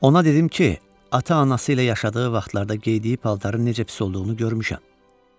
Ona dedim ki, ata-anası ilə yaşadığı vaxtlarda geydiyi paltarın necə pis olduğunu görmüşəm.